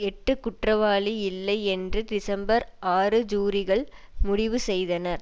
எட்டு குற்றவாளி இல்லை என்று டிசம்பர் ஆறு ஜூரிகள் முடிவு செய்தனர்